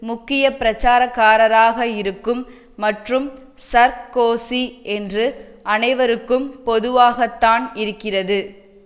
முக்கிய பிரச்சாரகராக இருக்கும் மற்றும் சர்கோசி என்று அனைவருக்கும் பொதுவாகத்தான் இருக்கிறது